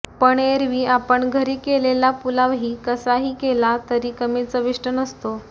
पण एरवी आपण घरी कलेला पुलावही कसाही केला तरी कमी चविष्ट नसतो